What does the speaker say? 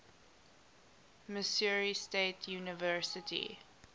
missouri state university